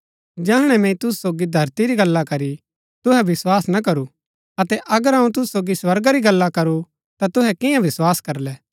जैहणै मैंई तुसू सोगी धरती री गल्ला करी तुहै विस्वास ना करू अतै अगर अऊँ तुसू सोगी स्वर्गा री गल्ला करू ता तुहै कियां विस्वास करलै